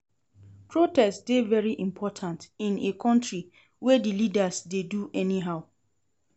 Protest dey very important in a country wey di leaders dey do anyhow.